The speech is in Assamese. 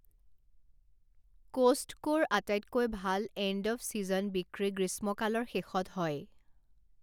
ক'ষ্টকোৰ আটাইতকৈ ভাল এণ্ড অৱ ছিজন বিক্ৰী গ্ৰীষ্মকালৰ শেষত হয়।